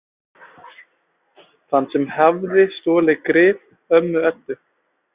Þann sem hafði stolið grip ömmu Eddu.